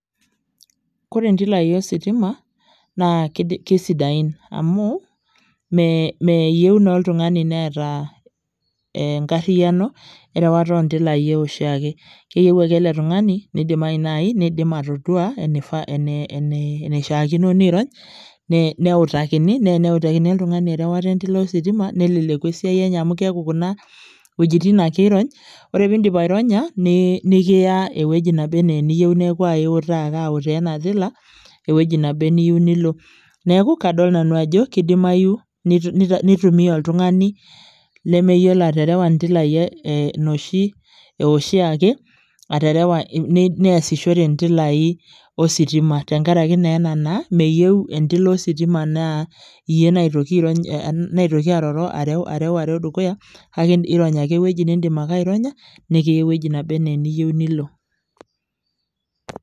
Kore intilai ositima, naa kesidain. Amuu, meyieu naa oltung'ani neeta enkarriyiano, erewata ontilai oshiake. Keyieu ake ele tung'ani, nidimayu nai, nidim atodua, eneishaakino niirony, neutakini, ne eneutakini oltung'ani erewata entila ositima, neleleku esiai enye amu keeku kuna wuejiting ake irony, ore pidip aironya, nikiya ewueji naba enaa eniyieu neeku aiutaa aitaa ena tila, ewueji naba eniyieu nilo. Neeku kadol nanu ajo, kidimayu nitumia oltung'ani lemeyiolo aterewa intilai noshi ewoshiake, aterewa neesishore ntilai ositima tenkaraki naa ena naa, meyieu entila ositima naa iyie naitoki airony, aitoki aroro areuareu dukuya, kake irony ake ewueji nidim ake aironya, nikiya ewueji naba enaa eniyieu nilo.